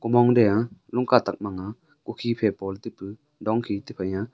komong de aa lung katak mang nga kokhi phai po le taipu dong khi tai phai ya.